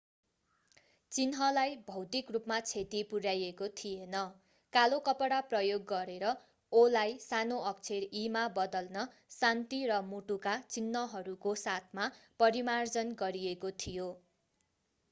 चिन्हलाई भौतिक रूपमा क्षति पुर्‍याइएको थिएन; कालो कपडा प्रयोग गरेर o”लाई सानो अक्षर e” मा बदल्न शान्ति र मुटुका चिन्हहरूको साथमा परिमार्जन गरिएको थियो।